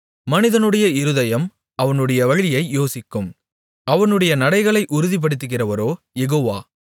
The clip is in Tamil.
மனிதனுடைய இருதயம் அவனுடைய வழியை யோசிக்கும் அவனுடைய நடைகளை உறுதிப்படுத்துகிறவரோ யெகோவா